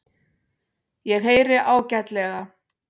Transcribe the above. Ég heyri ágætlega.